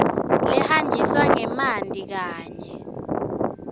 lehanjiswa ngemanti kanye